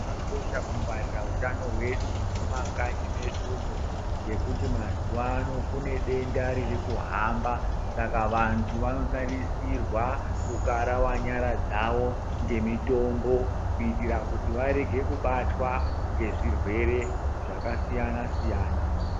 Chakakosha kungwarira utano hwedu mumakanyi medumwo ngekuti mazuvano kune denda riri kuhamba vanohamba saka vantu vanotarisirwa kukarawa nyara dzawo ngemitombo, kuitira kuti varege kubatwa ngezvirwere zvakasiyana siyana.